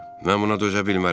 Mən buna dözə bilmərəm.